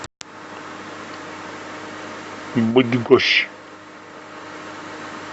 быдгощ